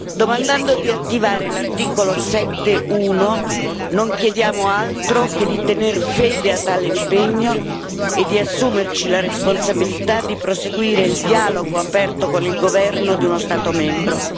Domandando di attivare l'articolo 7, paragrafo 1, non chiediamo altro che di tener fede a tale impegno e di assumerci la responsabilità di proseguire il dialogo aperto con il governo di uno Stato membro.